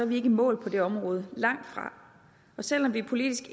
vi ikke i mål på det område langtfra og selv om vi politisk